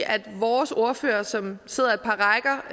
at vores ordfører som sidder et par rækker